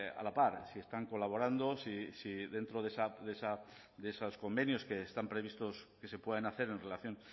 a la par si están colaborando si dentro de esos convenios que están previstos que se puedan hacer en relación